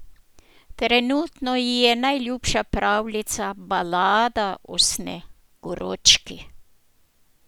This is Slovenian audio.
Trenutno ji je najljubša pravljica Balada o Sneguročki.